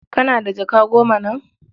Kana da jaka goma nan?